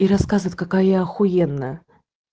и рассказывает какая ахуенная